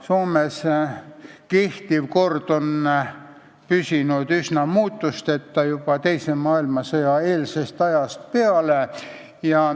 Soomes kehtiv kord on püsinud üsna muutusteta juba teise maailmasõja eelsest ajast peale.